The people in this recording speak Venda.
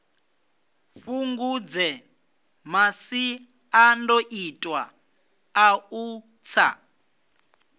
fhungudze masiandoitwa a u tsa